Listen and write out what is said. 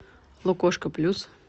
лукошко плюс